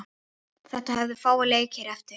Þetta hefðu fáir leikið eftir.